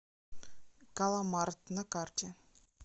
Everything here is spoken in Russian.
галамарт на карте